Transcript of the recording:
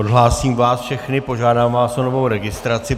Odhlásím vás všechny, požádám vás o novou registraci.